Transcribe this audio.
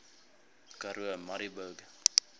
karoo murrayburg